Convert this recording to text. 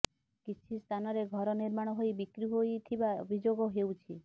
କିଛି ସ୍ଥାନରେ ଘର ନିର୍ମାଣ ହୋଇ ବିକ୍ରି ହୋଇଥିବା ଅଭିଯୋଗ ହେଉଛି